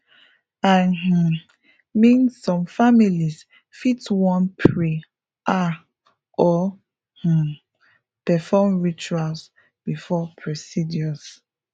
i um mean some families fit wan pray ah or um perform rituals before procedures